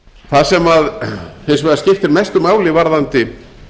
það sem hins vegar skiptir mestu máli varðandi